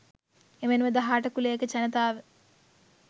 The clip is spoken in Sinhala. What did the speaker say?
එමෙන්ම දහ අට කුලයක ජනතාව